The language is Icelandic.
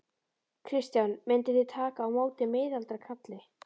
Kristján: Mynduð þið taka á móti miðaldra kalli?